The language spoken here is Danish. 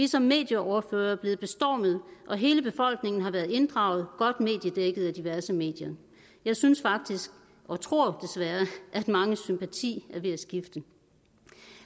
som medieordførere blevet bestormet og hele befolkningen har været inddraget godt dækket af diverse medier jeg synes faktisk og tror desværre at manges sympati er ved at skifte